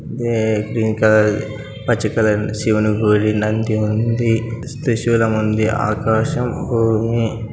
Green colour పచ్చ colour శివుని గుడి నంది ఉంది. సిస్ త్రిశూలం ఉంది. ఆకాశం భూమి --